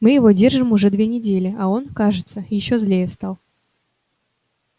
мы его держим уже две недели а он кажется ещё злее стал